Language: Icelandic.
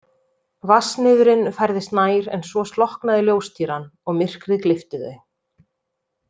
Vatnsniðurinn færðist nær en svo slokknaði ljóstýran og myrkrið gleypti þau.